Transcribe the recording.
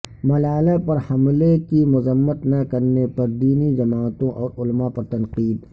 ملالہ پر حملے کی مذمت نہ کرنے پر دینی جماعتوں اور علماء پر تنقید